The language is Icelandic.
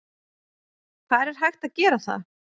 Hvar er hægt að gera það?